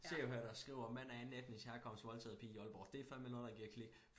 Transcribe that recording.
Se og hør der skriver mand af andenetnisk herkomst voldtaget pige i Aalborg det fandme noget der giver click